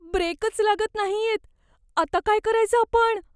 ब्रेकच लागत नाहीयेत. आता काय करायचं आपण?